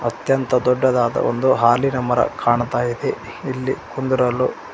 ಅತ್ಯಂತ ದೊಡ್ಡದಾದ ಒಂದು ಹಾಲಿನ ಮರ ಕಾಣ್ತಾ ಇದೆ ಇಲ್ಲಿ ಕುಂದ್ರಲು--